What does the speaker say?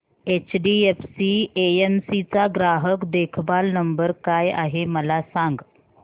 HDFC AMC चा ग्राहक देखभाल नंबर काय आहे मला सांग